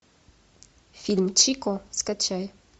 фильм чико скачай